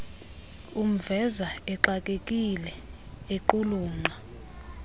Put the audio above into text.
umveza exakekile equlunqa